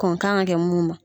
Kɔn kan ka kɛ mun ma.